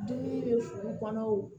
Dumuni bɛ fu kɔnɔ o